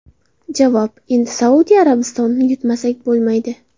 Javob: Endi Saudiya Arabistonini yutmasak bo‘lmaydi.